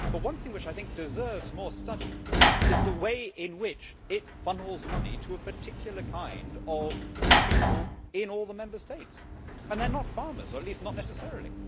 One thing which I think deserves more study is the way in which it funnels money to a particular kind of people in all the Member States and they are not farmers, or at least not necessarily.